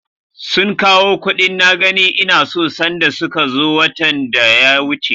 Sun kawo kuɗin na gani ina so sanda suka zo watan da ya wuce.